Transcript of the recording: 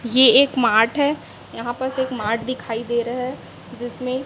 ये एक मार्ट है यहां पर सिर्फ मार्ट दिखाई दे रहा जिसमें--